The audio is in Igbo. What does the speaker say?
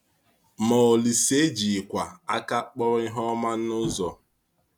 Ma Ȯlísè ejighịkwa aka kpọrọ ihe ọma n’ụzọ.